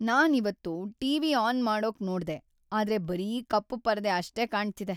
ನಾನ್ ಇವತ್ತು TV. On ಮಾಡೋಕ್‌ ನೋಡ್ದೆ, ಆದ್ರೆ ಬರೀ ಕಪ್ಪು ಪರದೆ ಅಷ್ಟೇ ಕಾಣ್ತಿದೆ.